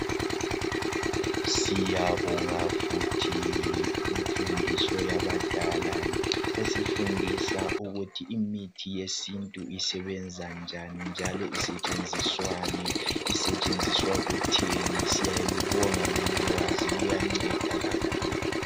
Siyabonga futhi imfundiso yabadala esifundisa ukuthi imithi yesintu isebenza njani njalo isetshenziswani ,isetshenziswa kutheni .Siyalubonga lolu kwazi luyanceda kakhulu.